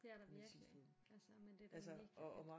Det er der virkelig altså men det er da mega fedt